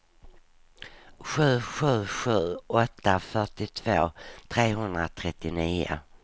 sju sju sju åtta fyrtiotvå trehundratrettionio